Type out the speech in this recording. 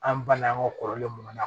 An bala an ka kɔrɔlen mun na